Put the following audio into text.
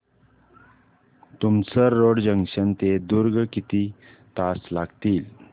Tumsar road junction ते दुर्ग किती तास लागतील